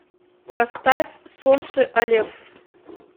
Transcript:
поставь сонши алеф